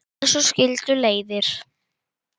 En svo skildu leiðir.